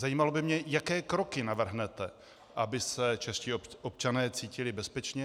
Zajímalo by mě, jaké kroky navrhnete, aby se čeští občané cítili bezpečně.